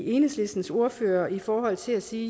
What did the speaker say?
enhedslistens ordfører op i forhold til at sige